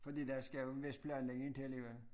Fordi der skal jo en vis planlægning til ikke også